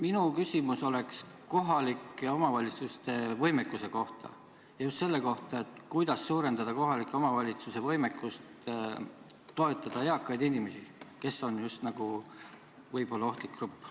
Minu küsimus on kohalike omavalitsuste võimekuse kohta ja just selle kohta, kuidas suurendada kohalike omavalitsuste võimekust toetada eakaid inimesi, kes on just nagu ohustatud grupp.